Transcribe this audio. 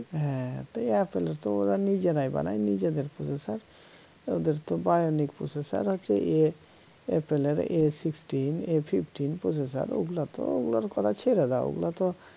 হ্যা তো apple তো ওরা নিজেরাই বানায় নিজেদের processor ওদের তো bionic processor হচ্ছে ইয়ে a fifteen a sixteen processor ওগুলা তো ওগুলার কথা ছেড়ে দাও ওগুলা তো